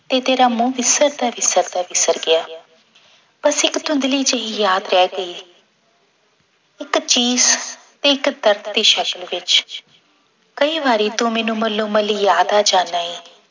ਤੇ ਤੇਰਾ ਮੂੰਹ ਵਿਸਰਦਾ ਵਿਸਰਦਾ ਵਿਸਰ ਗਿਆ ਬਸ ਇੱਕ ਧੁੰਦਲੀ ਜਿਹੀ ਯਾਦ ਰਹਿ ਗਈ ਇੱਕ ਚੀਸ ਤੇ ਇੱਕ ਦਰਦ ਦੀ ਸ਼ਕਲ ਵਿੱਚ ਕਈ ਵਾਰੀ ਤੂੰ ਮੈਨੂੰ ਮੱਲੋ ਯਾਦ ਆ ਜਾਨਾ ਏ